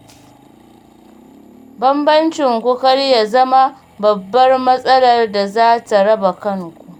Bambancinku kar ya zama babbar matsalar da za ta raba kanku.